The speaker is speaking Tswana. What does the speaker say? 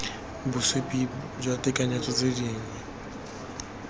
bosupi jwa tekanyetso tse dingwe